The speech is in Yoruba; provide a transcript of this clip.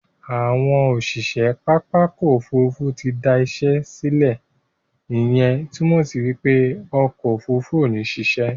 Àwọn òṣìṣẹ́ pápá òkò òfúrùfú ti dá işe le, ìyẹn túmọ̀ sí wípé òkò òfúrùfú ò ní sise